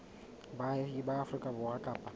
baahi ba afrika borwa kapa